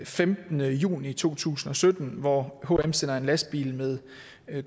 femtende juni to tusind og sytten hvor hm sender en lastbil med